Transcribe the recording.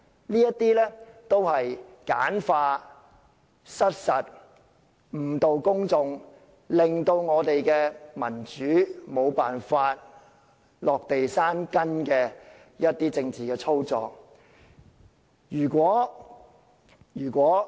這些都是簡化、失實和誤導公眾的說法，令民主沒有辦法落地生根的政治操作。